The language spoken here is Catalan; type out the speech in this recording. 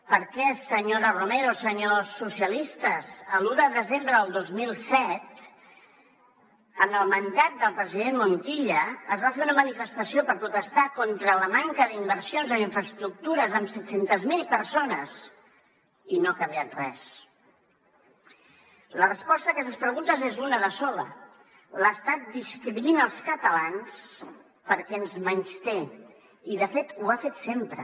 per què senyora romero senyors socialistes l’un de desembre del dos mil set en el mandat del president montilla es va fer una manifestació per protestar contra la manca d’inversions en infraestructures amb set cents miler persones i no ha canviat res la resposta a aquestes preguntes és una de sola l’estat discrimina els catalans perquè ens menysté i de fet ho ha fet sempre